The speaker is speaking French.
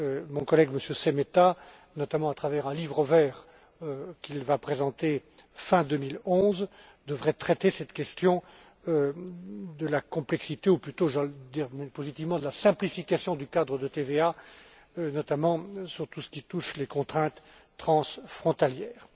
Mon collègue, M. Šemeta, notamment à travers un livre vert qu'il présentera fin 2011, devrait traiter cette question de la complexité, ou plutôt je vais le dire positivement de la simplification du cadre de TVA, notamment pour tout ce qui touche aux contraintes transfrontalières.